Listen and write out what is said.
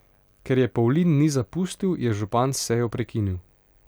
Ker je Pavlin ni zapustil, je župan sejo prekinil.